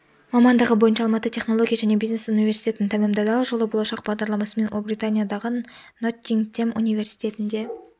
мамандығы бойынша алматы технология және бизнес университетін тәмамдады ал жылы болашақ бағдарламасымен ұлыбританиядағы ноттингем университетінде